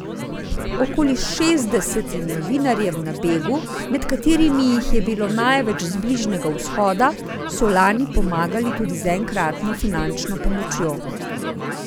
Okoli šestdesetim novinarjem na begu, med katerimi jih je bilo največ z Bližnjega vzhoda, so lani pomagali tudi z enkratno finančno pomočjo.